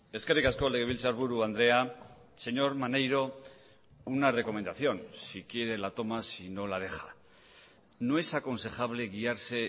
eskerrik asko legebiltzarburu andrea señor maneiro una recomendación si quiere la toma si no la deja no es aconsejable guiarse